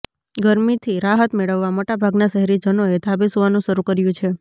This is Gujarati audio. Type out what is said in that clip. ગરમીથી રાહત મેળવવા મોટાભાગના શહેરીજનોએ ધાબે સુવાનું શરૂ કર્યું છે